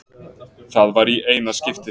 Það var í eina skiptið.